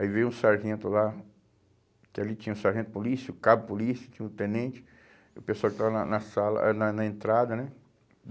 Aí veio um sargento lá, que ali tinha o sargento polícia, o cabo polícia, tinha o tenente, o pessoal que estava na na sala ah na na entrada, né?